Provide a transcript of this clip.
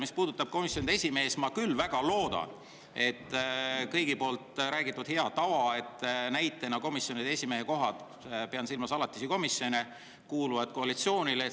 Mis puudutab komisjonide esimehi, siis ma küll väga loodan, et see hea tava ikkagi jätkub, et komisjonide esimeeste kohad – pean silmas alatisi komisjone – kuuluvad koalitsioonile.